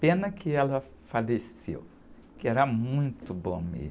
Pena que ela faleceu, porque era muito bom mesmo.